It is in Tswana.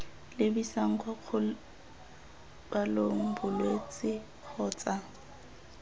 lebisang kwa kgobalong bolwetse kgotsa